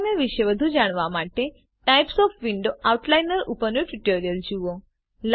outliner વિશે વધુ જાણવા માટે વિન્ડોવ્સના પ્રકાર આઉટલાઇનર ઉપરનું ટ્યુટોરીયલ જુઓ